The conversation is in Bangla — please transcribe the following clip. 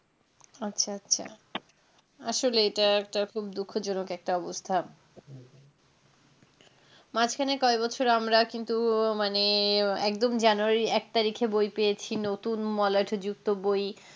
আচ্ছা আচ্ছা আসলে এটা একটা খুব দুঃখজনক একটা অবস্থা মাঝখানে কয় বছর আমরা কিন্তু মানে একদম জানুয়ারী এক তারিখে বই পেয়েছি নতুন মলাট যুক্ত বই।